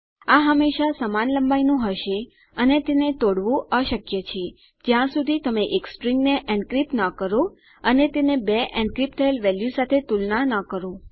આ હંમેશા સમાન લંબાઈનું હશે અને તેને તોડવું અશક્ય છે જ્યાં સુધી તમે એક સ્ટ્રીંગને એન્ક્રિપ્ટ ન કરો અને તેને બે એન્ક્રિપ્ટ થયેલ વેલ્યુ સાથે તુલના ન કરો